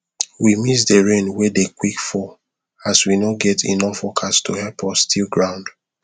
we miss the rain wen dey quick fall as we no get enough workers to help us till ground